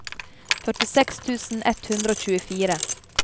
førtiseks tusen ett hundre og tjuefire